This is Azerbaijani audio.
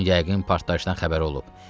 Onun yəqin partlayışdan xəbəri olub.